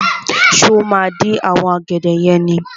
Ṣé o máa dín àwọn ọ̀gẹ̀dẹ̀ yẹn ni?